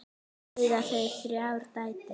Eiga þau þrjár dætur.